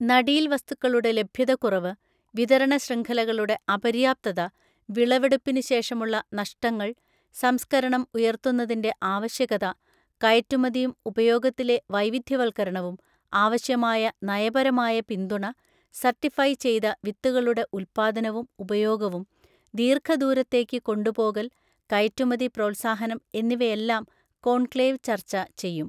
നടീൽ വസ്തുക്കളുടെ ലഭ്യതക്കുറവ്, വിതരണശൃംഖലകളുടെ അപര്യാപ്ത, വിളവെടുപ്പിന് ശേഷമുള്ള നഷ്ടങ്ങൾ, സംസ്ക്കരണം ഉയർത്തുന്നതിൻ്റെ ആവശ്യകത, കയറ്റുമതിയും ഉപയോഗത്തിലെ വൈവിദ്ധ്യ വൽക്കരണവും, ആവശ്യമായ നയപരമായ പിന്തുണ, സർട്ടിഫൈ ചെയ്തവിത്തുകളുടെ ഉല്പ്പാദനവും ഉപയോഗവും, ദീര്ഘദൂരത്തേയ്ക്ക് കൊണ്ടുപോകൽ, കയറ്റുമതി പ്രോത്സാഹനം എന്നിവയെല്ലാം കോൺക്ലേവ് ചർച്ച ചെയ്യും.